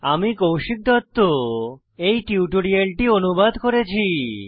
আমি কৌশিক দত্ত এই টিউটোরিয়ালটি অনুবাদ করেছি